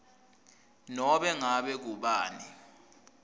nobe ngabe ngubani